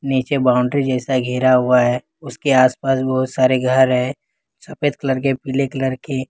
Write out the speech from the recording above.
नीचे बाउंड्री जैसा घेरा हुआ है उसके आस पास बहुत सारे घर हैं सफेद कलर के पीले कलर के।